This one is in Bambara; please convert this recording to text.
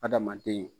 Adamaden